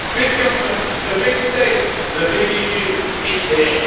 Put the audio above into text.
Big government, the big state, the big EU is here.